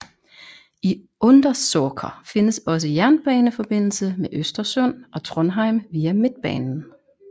I Undersåker findes også jerbaneforbindelse med Östersund og Trondheim via Mittbanan